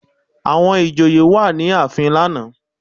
Àwọn ìjòyè wà ní ààfin lánàá